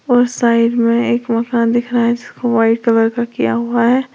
और साइड में एक मकान दिख रहा जिसको व्हाइट कलर का किया हुआ है।